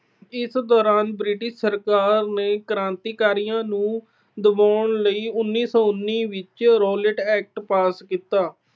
ਇਸ ਦੌਰਾਨ British ਸਰਕਾਰ ਨੇ ਕ੍ਰਾਂਤੀਕਾਰੀਆਂ ਨੂੰ ਦਬਾਉਣ ਲਈ ਉਨੀ ਸੌ ਉਨੀ ਵਿੱਚ Rowlatt Act pass ਕੀਤਾ।